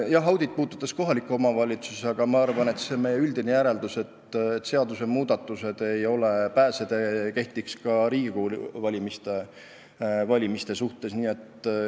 Jah, audit puudutas kohalikke omavalitsusi, aga ma arvan, et meie üldine järeldus, et seadusmuudatused ei ole pääsetee, kehtib ka Riigikogu valimiste kohta.